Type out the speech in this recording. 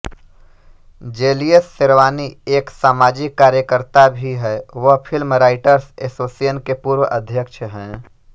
jealous Sherwani एक सामाजिक कार्यकर्ता भी हैं वह फिल्म राइटर्स एसोसिएशन के पूर्व अध्यक्ष हैं